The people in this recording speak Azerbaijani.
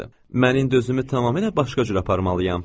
Mən indi özümü tamamilə başqa cür aparmalıyam.